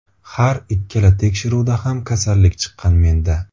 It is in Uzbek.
Har ikkala tekshiruvda ham kasallik chiqqan menda.